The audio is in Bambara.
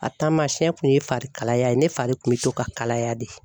A taamasiyɛn kun ye fari kalaya ye ne fari kun bɛ to ka kalaya de.